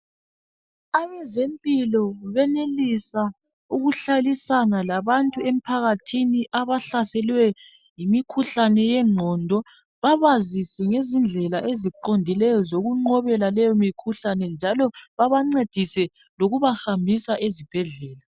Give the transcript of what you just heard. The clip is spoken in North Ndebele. Abezempilo benelisa ukuhlalisana labantu emphakathini abahlaselwe yimikhuhlane yegqondo. Babazise ngezindlela eziqondileyo zokunqobela leyo mikhuhlane njalo babancedise loku bahambisa ezibhedlela.